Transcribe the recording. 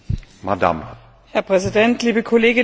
Herr Präsident, liebe Kolleginnen und Kollegen!